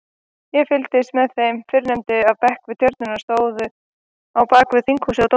Ég fylgist með þeim fyrrnefndu af bekk við tjörnina stóru á bakvið Þinghúsið og Dómkirkjuna.